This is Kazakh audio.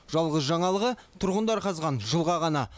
жалғыз жаңалығы тұрғындар қазған жылға ғана